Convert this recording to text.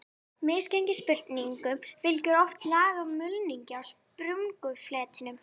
Misgengissprungum fylgir oft lag af mulningi á sprungufletinum.